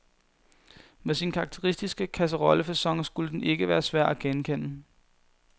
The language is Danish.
Med sin karakteristiske kasserollefacon skulle den ikke være svær at genkende.